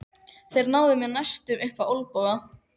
Þeir náðu mér næstum upp á olnboga.